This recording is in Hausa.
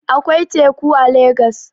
Akwai teku a legas